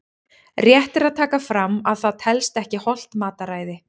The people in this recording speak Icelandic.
Rétt er að taka fram að það telst ekki hollt mataræði!